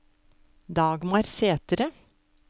Dagmar Sæthre